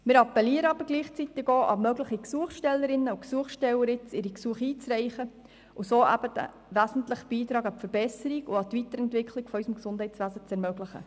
Wir appellieren gleichzeitig auch an mögliche Gesuchstellerinnen und Gesuchsteller, ihre Gesuche einzureichen und einen wesentlichen Beitrag an die Verbesserung und an die Weiterentwicklung unseres Gesundheitswesens zu ermöglichen.